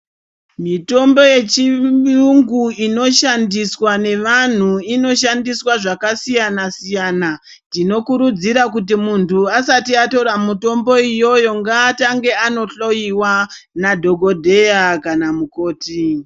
Mitombo yechiyungu inoshandiswa nevantu inoshandiswa zvakasiyana-siyana, tinokurudzira kuti muntu asati atora mitombo iyoyo ngaatange andohloyiwa nadhogodheya kana mukoti.